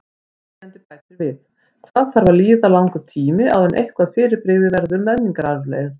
Spyrjandi bætir við: Hvað þarf að líða langur tími áður en eitthvað fyrirbrigði verður menningararfleifð?